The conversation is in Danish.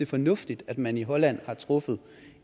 fornuftigt at man i holland har truffet